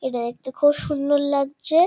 এটা দেখতে খুব সুন্দর লাগছে-এ ।